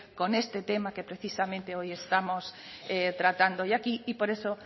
con este tema que precisamente hoy estamos tratando hoy aquí y por eso